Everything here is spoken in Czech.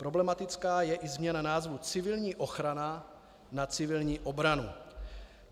Problematická je i změna názvu civilní ochrana na civilní obranu.